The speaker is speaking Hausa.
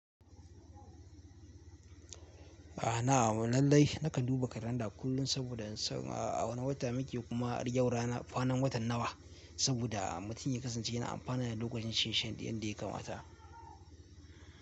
Lallai nakan duba kalanda kullum saboda in san a wane wata muke kuma yau rana, kwanan watan nawa saboda mutum ya kasance yana amfana da lokacin shi yanda ya kamata.